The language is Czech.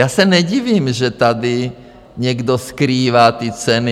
Já se nedivím, že tady někdo skrývá ty ceny.